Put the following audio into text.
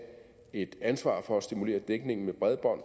et ansvar for at stimulere dækningen med bredbånd